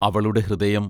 അവളുടെ ഹൃദയം...